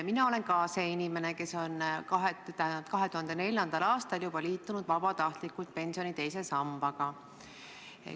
Mina olen inimene, kes on juba 2004. aastal vabatahtlikult liitunud pensioni teise sambaga.